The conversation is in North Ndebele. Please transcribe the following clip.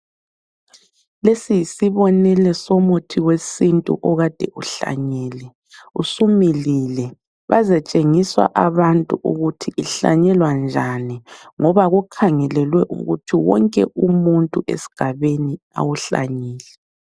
Lesi yisibonelo somuthi wesintu okade uhlanyelwe, usumilile bazatshengiswa abantu ukuthi ihlanyelwa njani ngoba kukhangelelwe ukuthi wonke umuntu esigabeni awuhlanyele.